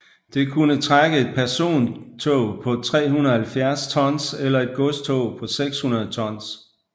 Det kunne trække et persontog på 370 tons eller et godstog på 600 tons